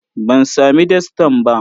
Ban sami dastan ba.